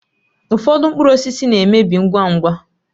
Ụfọdụ mkpụrụ osisi na-emebi ngwa ngwa